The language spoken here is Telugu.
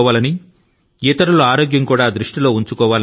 స్వయంగా మీ పట్ల అలాగే ఇతరుల పట్ల కూడా శ్రద్ధ తీసుకోండి అనే